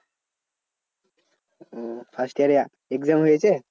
ওহ first year এর exam হয়েছে?